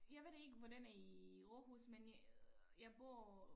Jeg ved det ikke hvordan er i Aarhus men jeg bor